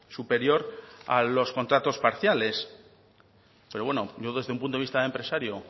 superior a los contratos parciales pero bueno yo desde un punto de vista de empresario